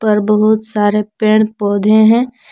और बहुत सारे पेड़ पौधे हैं।